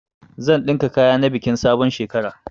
Zan ɗinka sabon kaya na bikin sabon shekara.